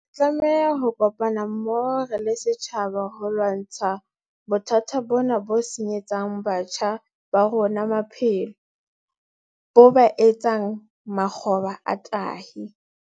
Re tlameha ho kopana mmoho re le setjhaba ho lwantsha bothata bona bo senyetsang batjha ba rona maphelo, bo ba etse makgoba a tahi.